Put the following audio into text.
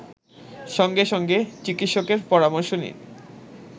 সঙ্গে সঙ্গে চিকিৎসকের পরামর্শ নিন